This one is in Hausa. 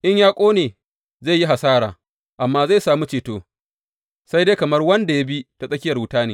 In ya ƙone, zai yi hasara, amma zai sami ceto, sai dai kamar wanda ya bi ta tsakiyar wuta ne.